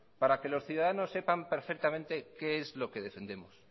para que los ciudadanos sepan perfectamente qué es lo que defendemos